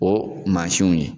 O mansiw ye